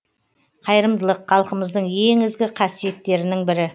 қайырымдылық халқымыздың ең ізгі қасиеттерінің бірі